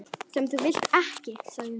. sem þú vilt ekki, sagði hún.